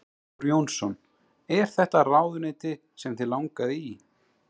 Þór Jónsson: Er þetta ráðuneyti sem þig langaði í?